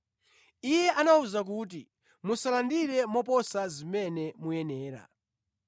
Iye anawawuza kuti, “Musalandire moposa zimene muyenera.”